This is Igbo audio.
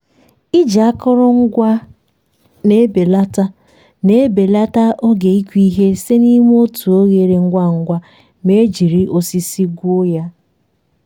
iji akụrụngwa a na-ebelata na-ebelata oge ịkụ ihe site n'ime otu oghere ngwa ngwa ma e jiri osisi gwuo ya.